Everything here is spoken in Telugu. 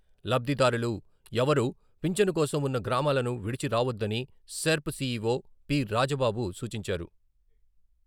లబ్ధిదారులు ఎవరూ పింఛను కోసం ఉన్న గ్రామాలను విడిచి రావొద్దని సెర్ప్ సీఈవో పి. రాజబాబు సూచించారు.